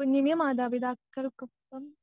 കുഞ്ഞിന് മാതാപിതാക്കൾക്കൊപ്പം